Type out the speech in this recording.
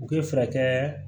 U bɛ fɛɛrɛ